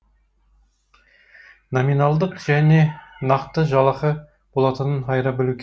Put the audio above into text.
номиналдық және нақты жалақы болатынын айыра білу